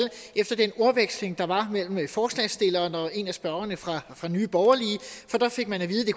efter den ordveksling der var mellem ordføreren for forslagsstillerne og en af spørgerne fra nye borgerlige for der fik man at vide